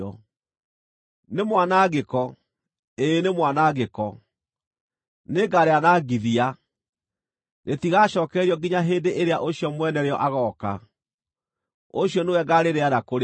Nĩ mwanangĩko! Ĩĩ nĩ mwanangĩko! Nĩngarĩanangithia! Rĩtigacookererio nginya hĩndĩ ĩrĩa ũcio mwene rĩo agooka; ũcio nĩwe ngaarĩneana kũrĩ we.’